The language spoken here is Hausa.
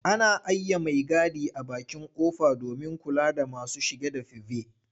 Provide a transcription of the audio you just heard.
Ana aiye maigadi a bakin ƙofa domin kula da masu shige da five.